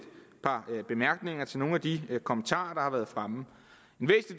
par bemærkninger til nogle af de kommentarer der har været fremme